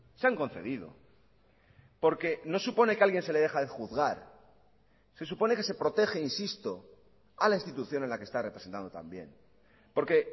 se han concedido porque no supone que a alguien se le deja de juzgar se supone que se protege insisto a la institución en la que está representado también porque